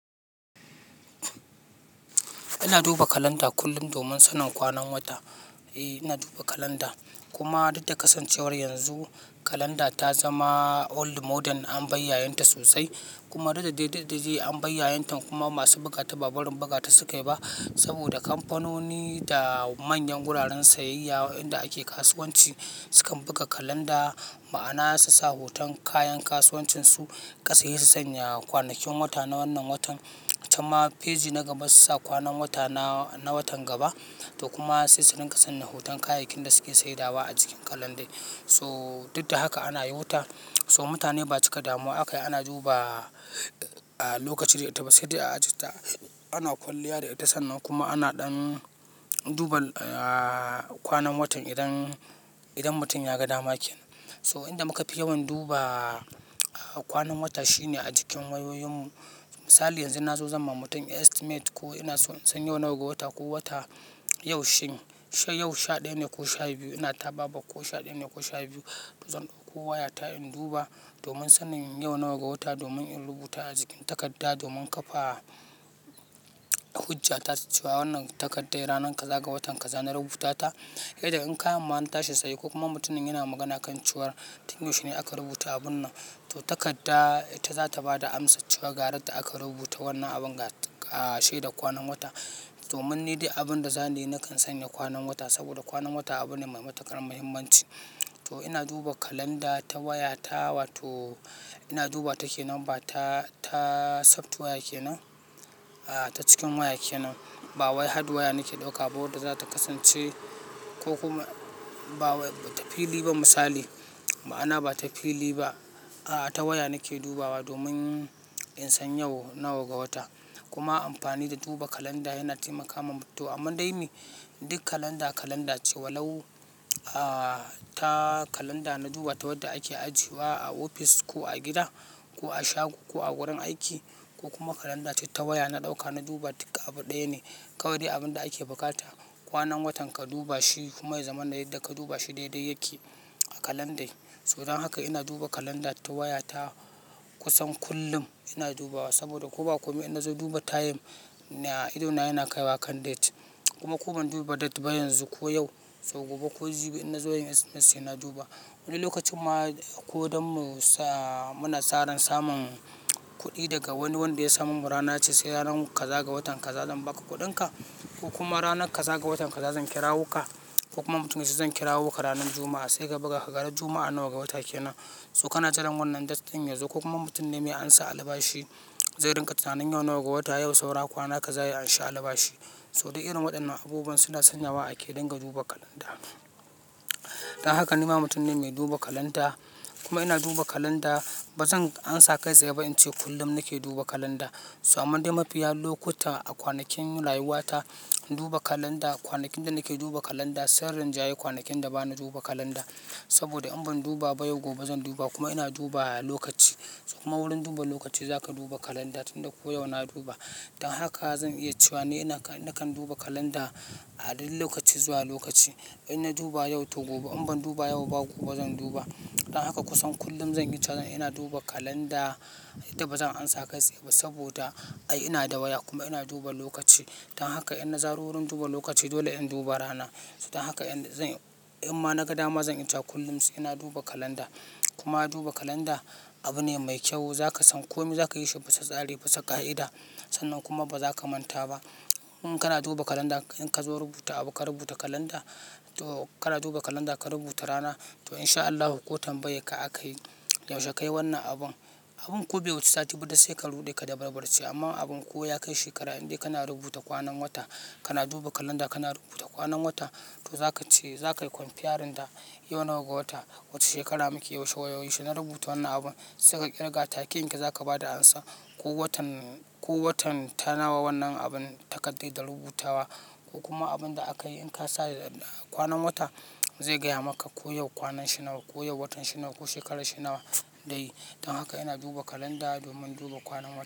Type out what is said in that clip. Ina duba kalanda kullum domin sanin kwanan wata. Eh ina duba kalanda kuma duk da kasancewar yanzu kalanda ta zama old model an bayyayen ta sosai kuma duk da dai an bayyayentan kuma masu bukata ba barin bugata sukai ba saboda kamfanoni da manyan wuraren sayayya inda ake kasuwanci sukan buga kalanda ma'ana susa hoton kayan kasuwancinsu. Ka saye su sanya kwanakin wata na wannan watan can ma feji na gaba su sa kwanan wata na watan gaba to kuma sai su rinƙa sanya hoton kayakin da suke saidawa a jikin kalandai. So duk da haka ana yota so mutane ba su cika damuwa aka yi ana duba a lokaci da ita ba sai dai a ajiye ta. Ana kwalliya da ita sannan kuma ana ɗan duba a kwanan watan idan, idan mutum ya ga dama kenan. So inda muka fi yawan duba a kwanan wata shine a jikin wayoyin mu. Misali yanzu na zo zan ma mutum estimate ko ina son in san yau nawa ga wata ko wata yaushe. She yau sha ɗaya ne ko sha biyu? Ina taba ba ko sha ɗaya ne ko sha biyu zan ɗauko wayata in duba domin sanin yau nawa ga wata domin in rubuta a jikin takarda domin kafa hujja ta cewa wannan takardar ranar kaza ga watan kaza na rubuta ta. Irin in kayan ma na tashi saye ko kuma mutumin yana magana kan cewa tun yaushe ne aka rubuta abun nan? To takarda ita za ta ba da amsa cewa garar da aka rubuta wannan abun ga shedar kwanan wata. Domin ni dai abin da zana yi na kan sanya kwanan wata saboda kwanan wata abu ne mai matuƙar muhimmanci. To ina duba kalanda ta wayata, wato ina duba takenan ba ta, ta softwire kenan. A'a ta cikin waya kenan. Ba wayai hardwire nake ɗauka ba wadda za ta kasance ko kuma ba ta fili ba misali. Ma'ana ba ta fili ba. A'a ta waya nake dubawa domin in san yau nawa ga wata. Kuma amfani da duba kalanda yana taimakama. To amma dai me? Duk kalanda kalanda ce walau a ta kalanda na duba ta wadda ake ajiye wa a ofis ko a gida ko a shago ko a wurin aiki ko kuma kalanda ce ta waya na ɗauka na duba. Duka abu ɗaya ne. Kawai dai abin da ake bukata kwanan watan ka duba shi kuma ya zama na yarda ka duba shi daidai yake a kalandai. Don haka ina duba kalanda ta wayata kusan kullum ina dubawa saboda ko ba komai inna zo duba time idona yana kaiwa kan date kuma ko ban duba date ba yanzu ko yau so gobe ko jibi inna zo yin estimate sai na duba. Wani lokacin ma ko dan mu sa muna saran samun kuɗi daga wani wanda ya sa mamu rana yace sai ranar kaza ga watan kaza zan ba ka kuɗinka ko kuma ranar kaza ga watan kaza zan kirawo ka ko kuma mutum ya ce zan kirawo ka ranar Juma'a sai ka buga kaga ran Juma'a nawa ga wata kenan? So kana jiran wannan date din yazo ko kuma mutum ne mai an sa albashi zai ringa tunanin yau nawa ga wata yau saura kwana kaza ya amshi albashi. So duk irin waɗannan abubuwan suna sanya wa ake dinga duba kalanda. Dan haka nima mutum ne mai duba kalanda. Kuma ina duba kalanda ba zan ansa kai tsaye ba in ce kullum nake duba kalanda. So amma dai mafiya lokuta a kwanakin rayuwata duba kalanda kwanakin da nake duba kalanda sun rinjayi kwanakin da bani duba kalanda saboda in ban duba ba yau gobe zan duba kuma ina duba lokaci. Kuma wurin duba lokaci zaka duba kalanda tunda ko yau na duba. Dan haka zan iya cewa ni ina nakan duba kalanda a duk lokaci zuwa lokaci. In na duba yau to gobe in ban duba yau ba gobe zan duba. Dan haka kusan kullum zan iya cewa ina duba kalanda yadda ba zan ansa kai tsaye ba saboda ai ina da waya kuma ina duba lokaci. Dan haka inna zaro wurin duba lokaci dole in duba rana. So dan haka in zan in ma na ga dama zan iya cewa kullum sai na duba kalanda. Kuma duba kalanda abu ne mai kyau. Zaka san komai, zaka yi shi bisa tsari, bisa ka'ida. Sannan kuma ba za ka manta ba. In kana duba kalanda in ka zo rubuta abu ka rubuta kalanda to kana duba kalanda ka rubuta rana to in sha Allahu ko tanbayanka akayi yaushe ka yi wannan abun. Abun ko be wuce sati biyu ba duk sai ka ruɗe ka dabarbarce. Amma abun ko ya kai shekara indai kana rubuta kwanan wata kana duba kalanda kana rubuta kwanan wata to za ka ce za ka yi konfiyarin da yau nawa ga wata wace shekara muke yaushe na rubuta wannan abun sai ka ƙirga take yanke za ka ba da amsa. Ko watan, ko watan tanawa wannan abun takarda da rubutawa ko kuma abun da aka yi in ka sa kwanan wata zai gaya maka ko yau kwanan shi nawa, ko yau watan shi nawa ko shekarar shi nawa dai. Dan haka ina duba kalanda domin duba kwanan wata.